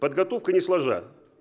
подготовка не сложа